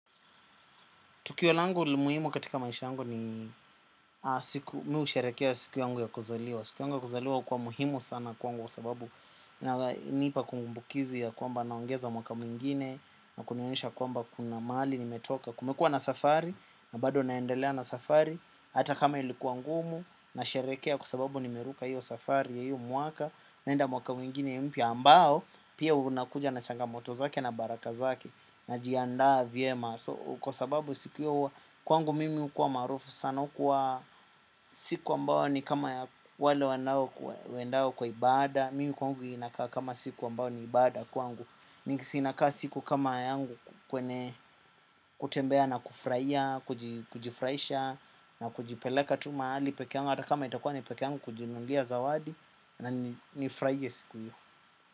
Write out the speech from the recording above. Tukio langu muhimu katika maisha yangu ni mimi husherekea siku yangu ya kuzaliwa. Siku yangu ya kuzaliwa hukuwa muhimu sana kwangu sababu inanipa kumbukizi ya kwamba naongeza mwaka mwingine na kunionyesha kwamba kuna mahali nimetoka. Kumekuwa na safari na bado naendelea na safari hata kama ilikuwa ngumu nasherekea kwa sababu nimeruka hiyo safari ya hiyo mwaka naenda mwaka mwingine ya mpya ambao pia unakuja na changamoto zake na baraka zake najiandaa vyema. Kwa sababu siku hiyo huwa kwangu mimi hukuwa maarufu sana hukuwa siku ambao ni kama wale wanaendao kwa ibada. Mimi kwangu inakaa kama siku ambao ni ibada kwangu inakaa siku kama yangu kwenye kutembea na kufurahia, kujifuraisha na kujipeleka tu mahali pekee yangu. Ata kama itakuwa ni pekee yangu kujinunulia zawadi nanifurahie siku hiyo.